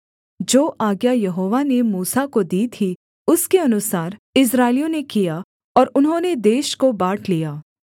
जो आज्ञा यहोवा ने मूसा को दी थी उसके अनुसार इस्राएलियों ने किया और उन्होंने देश को बाँट लिया